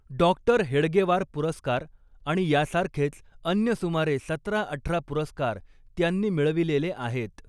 डॉ. हेडगेवार पुरस्कार आणि यासारखेच अन्य सुमारे सतराअठरा पुरस्कार त्यांनी मिळविलेले आहेत.